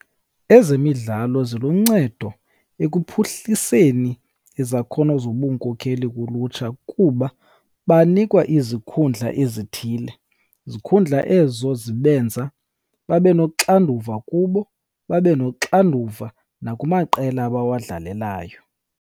Ezemidlalo ziluncedo ekuphuhliseni izakhono zobunkokheli kulutsha kuba banikwa izikhundla ezithile, zikhundla ezo zibenza babe noxanduva kubo, babe noxanduva nakumaqela abawadlalelayo.